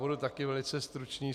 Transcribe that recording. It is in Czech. Budu také velice stručný.